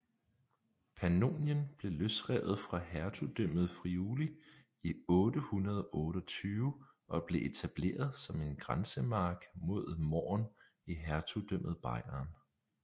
Pannonien blev løsrevet fra Hertugdømmet Friuli i 828 og blev etableret som en grænsemark mod Mähren i hertugdømmet Bayern